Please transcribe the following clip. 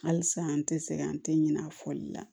Halisa an tɛ sɛgɛn an tɛ ɲinɛ a fɔli la